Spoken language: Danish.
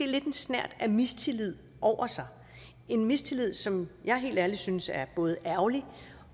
lidt en snert af mistillid over sig en mistillid som jeg helt ærligt synes er både ærgerlig